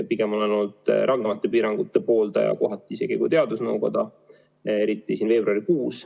Pigem olen ma olnud kohati isegi rangemate piirangute pooldaja kui teadusnõukoda, eriti veebruarikuus.